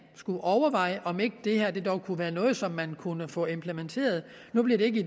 skulle overveje om ikke det her dog kunne være noget som man kunne få implementeret nu bliver det ikke